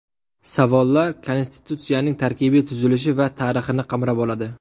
Savollar Konstitutsiyaning tarkibiy tuzilishi va tarixini qamrab oladi.